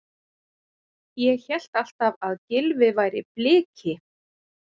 Ég hélt alltaf að Gylfi væri Bliki?